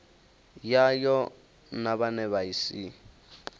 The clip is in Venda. yayo na vhane vha si